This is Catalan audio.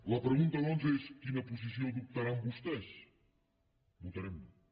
la pregunta doncs és quina posició adoptaran vostès votarem no